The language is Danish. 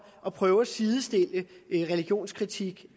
at prøve at sidestille religionskritik